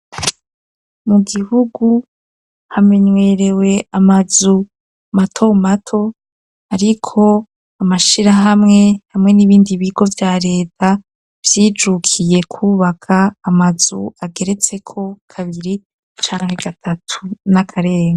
Mu gihugu hamenyerewe amazu mato mato ariko amashira hamwe hamwe n'ibindi bigo bya leta vyijukiye kubaka amazu ageretse ko kabiri canke gatatu n'akarenga.